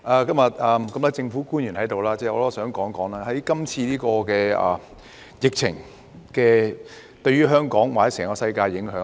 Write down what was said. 既然多位政府官員今天在席，我想談談這次疫情對於香港或整個世界的影響。